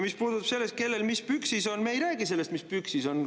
Mis puutub sellesse, kellel mis püksis on – me ei räägi sellest, mis püksis on.